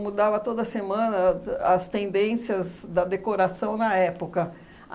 Mudava toda semana ta as tendências da decoração na época.